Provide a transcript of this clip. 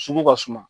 Sugu ka suma